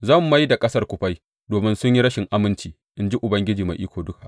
Zan mai da ƙasar kufai domin sun yi rashin aminci, in ji Ubangiji Mai Iko Duka.